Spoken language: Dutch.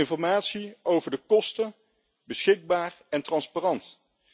Informatie over de kosten moet beschikbaar en transparant zijn.